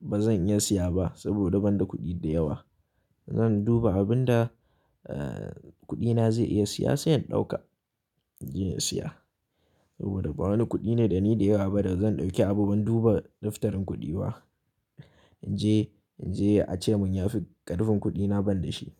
ba zan iya siya ba saboda ban da kuɗi da yawa. Zan duba abin da, eh, kuɗi na zai iya siya sai in ɗauka, in je in siya. Saboda ba wani kuɗi ne dani da yawa ba da zan ɗauki abu ban duba liftarin kuɗi ba. In je, in je a ce mun ya fi ƙarfin kuɗi na ban da shi.